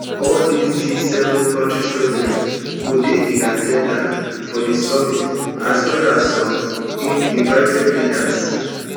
all di gseven kontri presidents go dey in at ten dance for di summit as well as some invited leaders